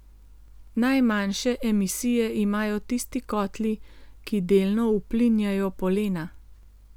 Najmanjše emisije imajo tisti kotli, ki delno uplinjajo polena.